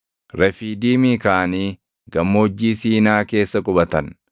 Refiidiimii kaʼanii Gammoojjii Siinaa keessa qubatan.